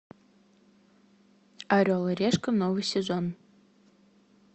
орел и решка новый сезон